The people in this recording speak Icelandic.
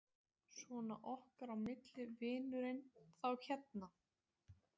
Svona okkar á milli, vinurinn. þá hérna.